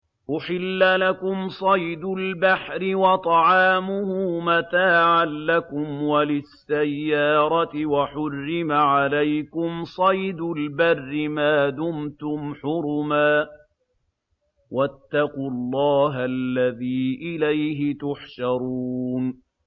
أُحِلَّ لَكُمْ صَيْدُ الْبَحْرِ وَطَعَامُهُ مَتَاعًا لَّكُمْ وَلِلسَّيَّارَةِ ۖ وَحُرِّمَ عَلَيْكُمْ صَيْدُ الْبَرِّ مَا دُمْتُمْ حُرُمًا ۗ وَاتَّقُوا اللَّهَ الَّذِي إِلَيْهِ تُحْشَرُونَ